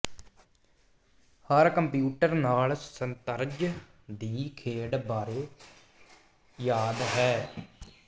ਹਰ computer ਨਾਲ ਸ਼ਤਰੰਜ ਦੀ ਖੇਡ ਬਾਰੇ ਯਾਦ ਹੈ